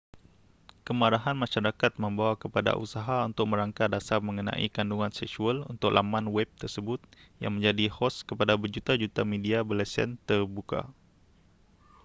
kemarahan masyarakat membawa kepada usaha untuk merangka dasar mengenai kandungan seksual untuk laman web tersebut yang menjadi hos kepada berjuta-juta media berlesen terbuka